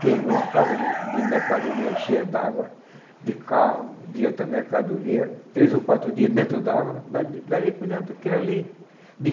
que é uma casa de mercadoria cheia d'água, de carro, de outra mercadoria, três ou quatro dias dentro d'água, daí daí por diante aquilo ali,